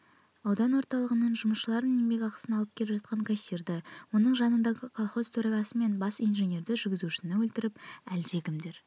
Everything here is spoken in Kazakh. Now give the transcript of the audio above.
аудан орталығынан жұмысшылардың еңбекақысын алып келе жатқан кассирді оның жанындағы колхоз төрағасы мен бас инженерді жүргізушіні өлтіріп әлдекімдер